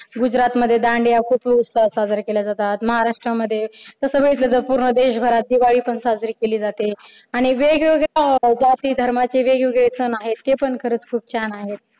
गुजरातमध्ये दांडिया खूप उत्साहात साजऱ्या केल्या जातात. महाराष्ट्रामध्ये तर सगळीकडे पूर्ण देशभरात दिवाळी पण साजरी केली जाते आणि वेगवेगळ्या जाती धर्माचे वेगवेगळे सण आहेत ते पण खरच खूप छान आहेत.